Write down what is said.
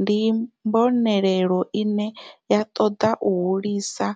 ndi mbonelelo ine ya toda u hulisa